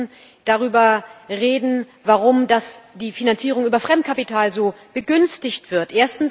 Aber wir müssen darüber reden, warum die Finanzierung über Fremdkapital so begünstigt wird.